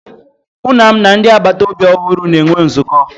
Nna m na ndị agbata obi ọhụrụ na-enwe nzukọ